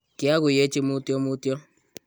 kiaguyechi mutyo mutyo